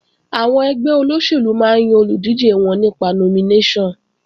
Àwọn ẹgbẹ́ olóṣèlú máa ń yan olùdíje wọn nípa nominéṣọ̀n